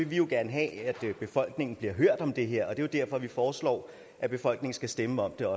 vi jo gerne have at befolkningen bliver hørt om det her og det er derfor vi foreslår at befolkningen skal stemme om det